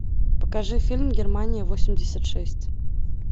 покажи фильм германия восемьдесят шесть